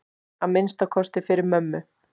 Að minnsta kosti fyrir mömmu.